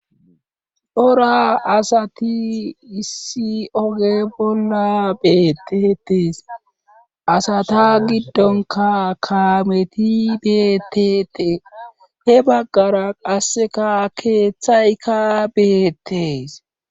Cora asati issi oge bolla beetetees asata giddonka kaameti beeteetee he baggara qasseka keeththayka beettees